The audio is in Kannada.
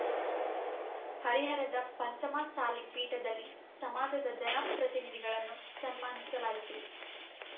ಹರಿಹರದ ಪಂಚಮಸಾಲಿ ಪೀಠದಲ್ಲಿ ಸಮಾಜದ ಜನ ಪ್ರತಿನಿಧಿಗಳನ್ನು ಸನ್ಮಾನಿಸಲಾಯಿತು